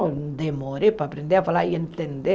Eu demorei para aprender a falar e entender.